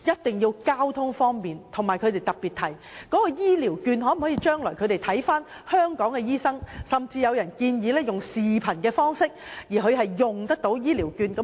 此外，長者亦希望可在當地使用醫療券向香港的醫生求診，甚至有人建議使用視頻方式，讓他們得以使用醫療券。